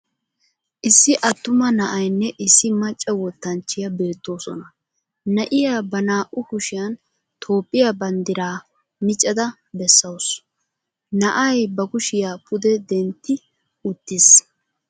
Issi attuma na'aynne issi macca wottanchchiya beettoosona. Na'iya ba naa"u kushshiyan Toophphiya banddiraa miccada bessawusu. Na'ay ba kushiya pude dentti uttiis.